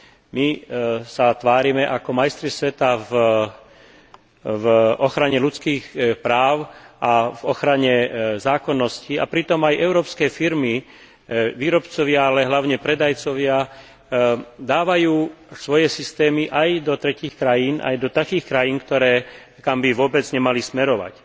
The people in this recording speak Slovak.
My sa tvárime ako majstri sveta v ochrane ľudských práv a v ochrane zákonnosti, a pritom aj európske firmy, výrobcovia ale hlavne predajcovia dávajú svoje systémy aj do tretích krajín, aj do takých krajín, kam by vôbec nemali smerovať.